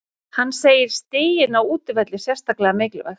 Hann segir stigin á útivelli sérstaklega mikilvæg.